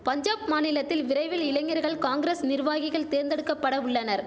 பஞ்சாப் மாநிலத்தில் விரைவில் இளைஞர்கள் காங்கிரஸ் நிர்வாகிகள் தேர்ந்தெடுக்கபட உள்ளனர்